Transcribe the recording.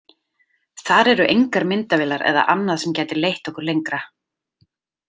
Þar eru engar myndavélar eða annað sem gæti leitt okkur lengra.